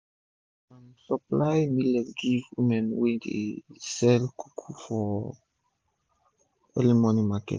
i dey um supply millet give one woman wey dey sell kunu for um early morning market